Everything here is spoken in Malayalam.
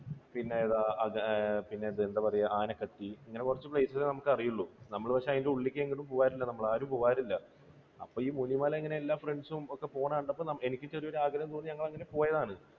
ഇന്ന് എന്താ പറയുക അഗ, ആഹ് ആനക്കട്ടി ഇങ്ങനെ കുറച്ച് place കളെ നമുക്ക് അറിയുകയുള്ളൂ. നമ്മൾ പക്ഷേ അതിൻറെ ഉള്ളിലേക്ക് അങ്ങനെ പോകാറില്ല ആരും പോകാറില്ല. അപ്പോൾ ഈ മുനിമല ഇങ്ങനെ എല്ലാ friends ഉം പോകുന്നത് കണ്ടപ്പോൾ എനിക്ക് ചെറിയൊരു ആഗ്രഹം തോന്നി അങ്ങനെ ഞങ്ങൾ പോയതാണ്